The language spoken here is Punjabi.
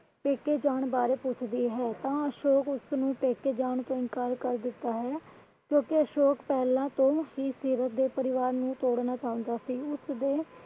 ਪੇਕੇ ਜਾਣ ਬਾਰੇ ਪੁੱਛਦੀ ਹੈ ਤਾਂ ਅਸ਼ੋਕ ਉਸਨੂੰ ਪੇਕੇ ਜਾਣ ਤੋਂ ਇਨਕਾਰ ਕਰ ਦਿੰਦਾ ਹੈ ਕਿਉਂਕਿ ਅਸ਼ੋਕ ਪਹਿਲਾਂ ਤੋਂ ਹੀ ਸੀਰਤ ਦੇ ਪਰਿਵਾਰ ਨੂੰ ਤੋੜਨਾ ਚਾਉਂਦਾ ਸੀ। ਉਸਦੇ,